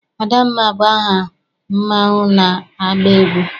Adamma bụ aha mmanwụ na-agba egwu.